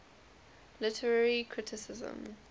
literary criticism